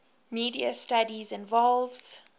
media studies involves